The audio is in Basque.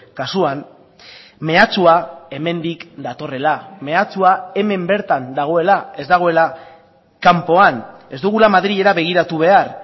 kasuan mehatxua hemendik datorrela mehatxua hemen bertan dagoela ez dagoela kanpoan ez dugula madrilera begiratu behar